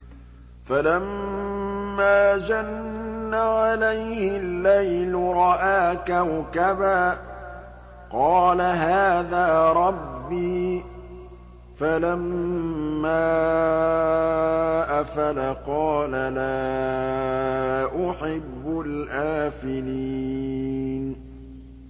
فَلَمَّا جَنَّ عَلَيْهِ اللَّيْلُ رَأَىٰ كَوْكَبًا ۖ قَالَ هَٰذَا رَبِّي ۖ فَلَمَّا أَفَلَ قَالَ لَا أُحِبُّ الْآفِلِينَ